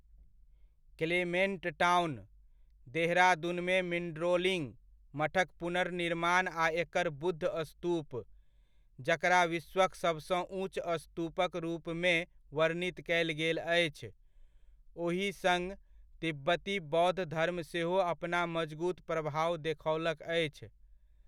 Clement Town, देहरादूनमे मिन्ड्रोलिङ्ग मठक पुनर्निर्माण आ एकर बुद्ध स्तूप, जकरा विश्वक सबसँ ऊँच स्तूपक रूपमे वर्णित कयल गेल अछि, ओहि सङ्ग तिब्बती बौद्ध धर्म सेहो अपना मजगूत प्रभाव देखओलक अछि।